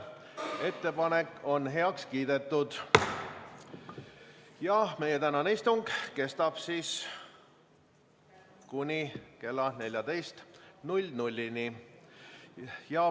Ettepanek on heaks kiidetud ja meie tänane istung kestab kuni kella 14-ni.